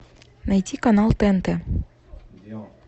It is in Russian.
найти канал тнт